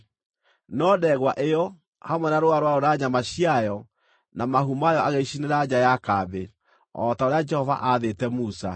No ndegwa ĩyo, hamwe na rũũa rwayo na nyama ciayo na mahu mayo agĩcicinĩra nja ya kambĩ, o ta ũrĩa Jehova aathĩte Musa.